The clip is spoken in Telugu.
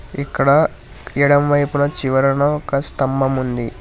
ఇక్కడ ఎడమవైపున చివరన ఒక స్తంభముంది.